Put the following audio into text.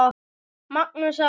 Magnús Ari.